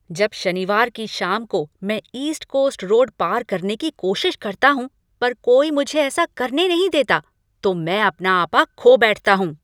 जब शनिवार की शाम को मैं ईस्ट कोस्ट रोड पार करने की कोशिश करता हूँ पर कोई मुझे ऐसा करने नहीं देता, तो मैं अपना आपा खो बैठता हूँ।